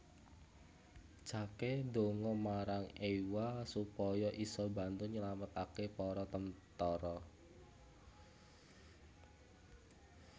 Jake ndonga marang Eywa supaya isa bantu nyelametake para tentara